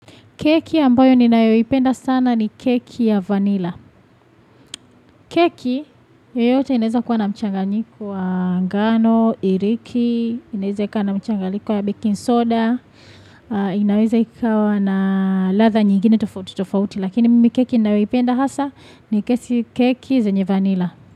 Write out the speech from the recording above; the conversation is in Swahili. Keki ambayo ninayoeipenda sana ni keki ya vanilla. Keki, yoyote inaweza kuwa na mchanganyiku wa ngano, iriki, inaweza ikawa na mchanganyiku wa baking soda, inaweza ikawa na latha nyingine tofauti tofauti. Lakini mimi keki nayoipenda hasa ni kesi keki zenye vanilla.